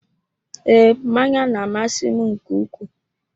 Ee, mmanya na-amasị m nke ukwuu.